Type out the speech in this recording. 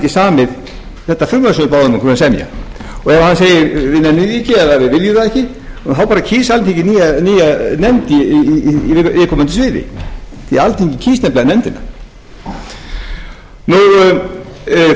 samið þetta frumvarp sem við báðum ykkur að semja og ef hann segir við nennum því ekki eða við viljum það ekki þá kýs alþingi nýja nefnd á viðkomandi